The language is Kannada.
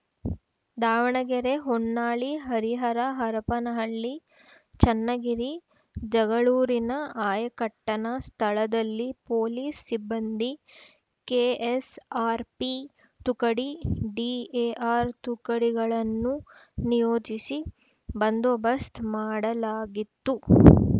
ದಾವಣಗೆರೆ ಹೊನ್ನಾಳಿ ಹರಿಹರ ಹರಪನಹಳ್ಳಿ ಚನ್ನಗಿರಿ ಜಗಳೂರಿನ ಆಯಕಟ್ಟನ ಸ್ಥಳದಲ್ಲಿ ಪೊಲೀಸ್‌ ಸಿಬ್ಬಂದಿ ಕೆಎಸ್‌ಆರ್‌ಪಿ ತುಕಡಿ ಡಿಎಆರ್‌ ತುಕಡಿಗಳನ್ನು ನಿಯೋಜಿಸಿ ಬಂದೋಬಸ್ತ್ ಮಾಡಲಾಗಿತ್ತು